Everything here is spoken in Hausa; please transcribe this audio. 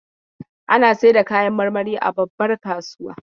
Ana saida kayan marmari a babbar kasuwa.